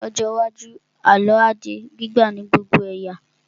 Ní ọjọ́ iwájú, àlọ́ á di gbígbà ní gbogbo ẹ̀yà